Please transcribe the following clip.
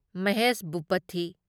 Mahesh Bhupathi